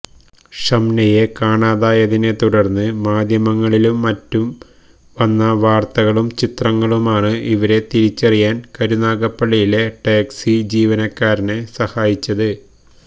ഷംനയെ കാണാതായതിനെത്തുടര്ന്ന് മാധ്യമങ്ങളിലും മറ്റും വന്ന വാര്ത്തയും ചിത്രങ്ങളുമാണ് ഇവരെ തിരിച്ചറിയാന് കരുനാഗപ്പള്ളിയിലെ ടാക്സി ജീവനക്കാരെ സഹായിച്ചത്